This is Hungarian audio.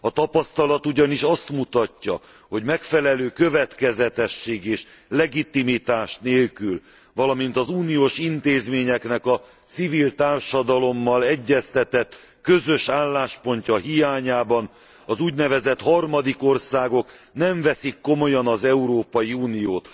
A tapasztalat ugyanis azt mutatja, hogy megfelelő következetesség és legitimitás nélkül, valamint az uniós intézményeknek a civil társadalommal egyeztetett közös álláspontja hiányában az úgynevezett harmadik országok nem veszik komolyan az Európai Uniót.